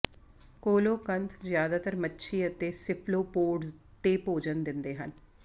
coelacanth ਜਿਆਦਾਤਰ ਮੱਛੀ ਅਤੇ ਸਿਫਲੋਪੋਡਜ਼ ਤੇ ਭੋਜਨ ਦਿੰਦੇ ਹਨ